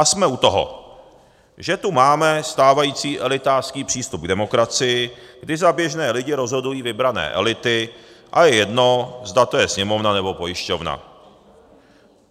A jsme u toho, že tu máme stávající elitářský přístup k demokracii, kdy za běžné lidi rozhodují vybrané elity, a je jedno, zda to je Sněmovna, nebo pojišťovna.